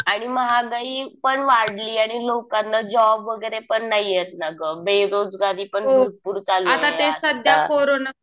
आणि महागाई पण वाढली. आणि लोकांना जॉब वगैरे पण नाहीयेत ना गं. बेरोजगारी पण भरपूर चालू आहे आता.